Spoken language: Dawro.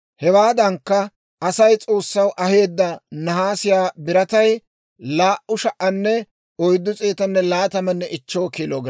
Hewaadankka, Asay S'oossaw aheedda nahaasiyaa biratay 2,425 kiilo giraame.